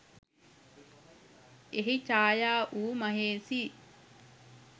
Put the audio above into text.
එහි චායා වූ මහේෂි